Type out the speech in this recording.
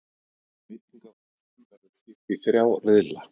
Veitingahúsunum verður skipt í þrjá riðla